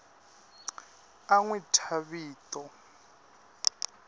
a n wi thya vito